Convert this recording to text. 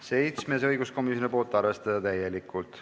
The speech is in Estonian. Seitsmes on õiguskomisjonilt, arvestada täielikult.